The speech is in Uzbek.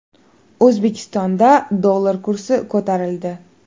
O‘zbekistonda dollar kursi ko‘tarildi.